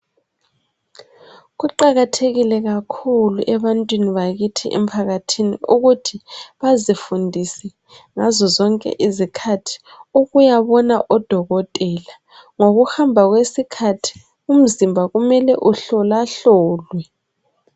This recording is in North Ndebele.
Kuqakathekile kakhulu ebantwini bakithi emphakathini ukuthi bazifundise ngazo zonke izikhathi ukuyabona odokotela. Ngokuhamba kwesikhathi, umzimba kumele uhlolahlolwe